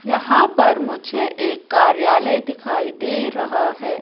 यहां पर मुझे एक कार्यालय दिखाई दे रहा है।